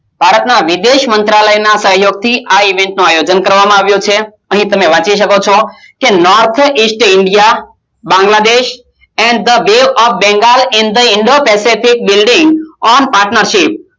ભારત માં વિદેશ મંત્રાલય ના સહિયોગ થી આ Event નું આયોજન કરવામાં આવ્યું છે અને તમે વાંચી શકો છો North India Bangladesh The Way Of Bengal In The Pacific building of partnership